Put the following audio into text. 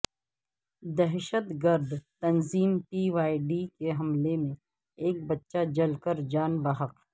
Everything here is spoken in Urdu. دہشت گرد تنظیم پی وائے ڈی کے حملے میں ایک بچہ جل کر جان بحق